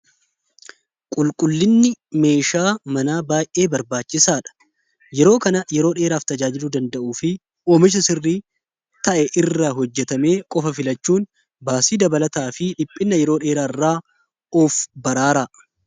qulqullinni meeshaa manaa baayee barbaachisaadha yeroo kana yeroo dheeraaf tajaajiru danda'uu fi oomisha sirrii ta'e irra hojjetamee qofa filachuun baasii dabalataa fi dhiphinna yeroo dheeraairraa of baraara